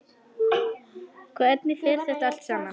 Hvernig fer þetta allt saman?